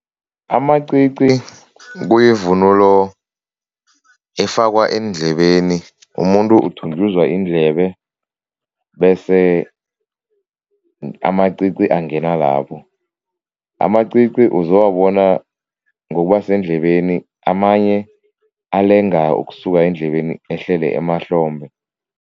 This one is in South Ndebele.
Amacici kuyivunulo efakwa eendlebeni. Umuntu uthunjuzwa iindlebe bese amacici angena lapho. Amacici uzowubona ngokuba sendlebeni, amanye alenga ukusuka endlebeni ehlele emahlombe.